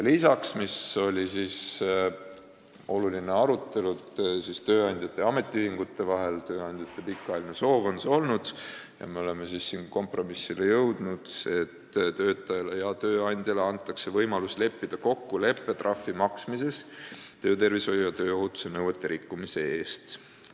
Lisaks oli oluline arutelu tööandjate ja ametiühingute vahel ning tööandjate pikaajaline soov on olnud – me oleme siin jõudnud kompromissile –, et töötajale ja tööandjale antakse võimalus leppida kokku leppetrahvi maksmises töötervishoiu ja tööohutuse nõuete rikkumise eest.